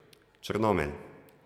Črnomelj.